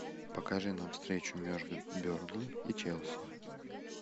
покажи нам встречу между бернли и челси